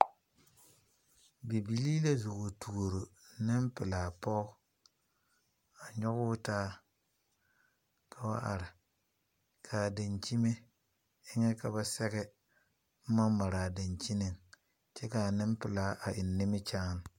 Bibilii la zo wa toore nepulaa poge a nyoge o taa kao are. Kaa dankyeme eŋe ka ba sɛge boma mare a dankyene kyɛ ka nepulaa eŋ nimikyaane.